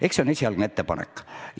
Eks see on esialgne ettepanek.